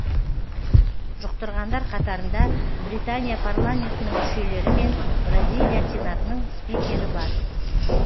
жұқтырғандар қатарында британия парламентінің мүшелері мен бразилия сенатының спикері бар